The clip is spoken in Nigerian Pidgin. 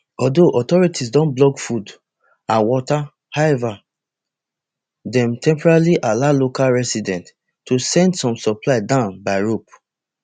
although authorities don block food and water however dem temporarily allow local residents to send some supplies down by rope